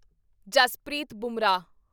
Jaspreet Bumrah